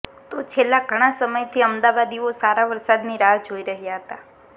તો છેલ્લા ઘણા સમયથી અમદાવાદીઓ સારા વરસાદની રાહ જોઈ રહ્યા હતા